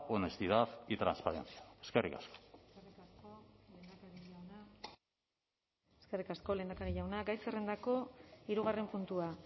honestidad y transparencia eskerrik asko eskerrik asko lehendakari jauna gai zerrendako hirugarren puntua